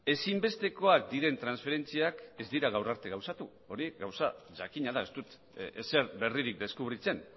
ezinbestekoak diren transferentziak ez dira gaur arte gauzatu hori gauza jakina da ez dut ezer berririk deskubritzen